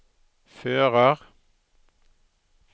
fører